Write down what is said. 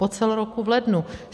Po celém roku v lednu.